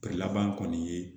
laban kɔni ye